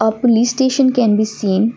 a police station can be seen.